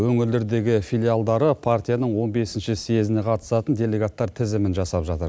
өңірлердегі филиалдары партияның он бесінші съезіне қатысатын делегаттар тізімін жасап жатыр